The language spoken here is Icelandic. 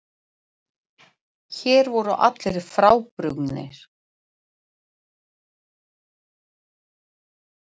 Hér voru allir frábrugðnir.